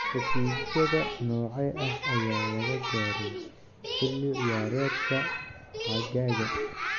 Heshiisyada noocee ah ayaa la gaaray xilli ciyaareedka xagaaga?